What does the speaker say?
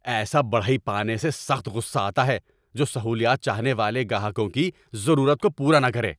ایسا بڑھئی پانے سے سخت غصہ آتا ہے جو سہولیات چاہنے والے گاہکوں کی ضرورت کو پورا نہ کرے۔